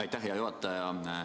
Aitäh, hea juhataja!